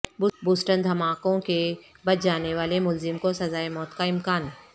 Boston دھماکوں کے بچ جانے والے ملزم کو سزائے موت کا امکان